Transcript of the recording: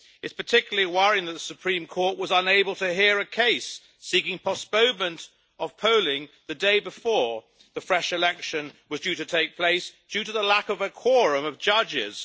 It is particularly worrying that the Supreme Court was unable to hear a case seeking postponement of polling the day before the fresh election was due to take place, due to the lack of a quorum of judges.